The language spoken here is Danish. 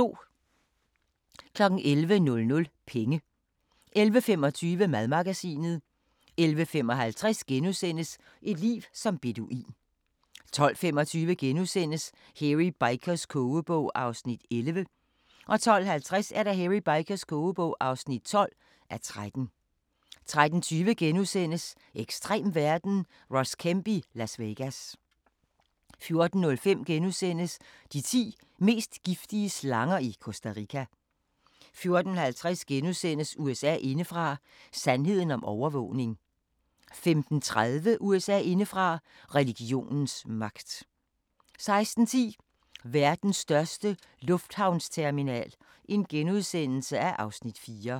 11:00: Penge 11:25: Madmagasinet 11:55: Et liv som beduin * 12:25: Hairy Bikers kogebog (11:13)* 12:50: Hairy Bikers kogebog (12:13) 13:20: Ekstrem verden – Ross Kemp i Las Vegas * 14:05: De ti mest giftige slanger i Costa Rica * 14:50: USA indefra: Sandheden om overvågning * 15:30: USA indefra: Religionens magt 16:10: Verdens største lufthavnsterminal (Afs. 4)*